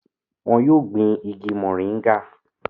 wọn yóò gbin igi mọ̀nríngà